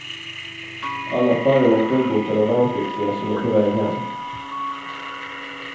Alla färjorna är fullbokade av värnpliktiga som är på väg hem.